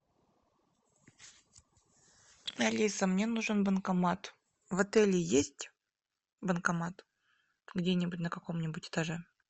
алиса мне нужен банкомат в отеле есть банкомат где нибудь на каком нибудь этаже